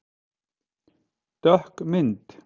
Dökk mynd